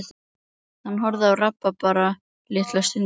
Hann horfði á rabarbarann litla stund.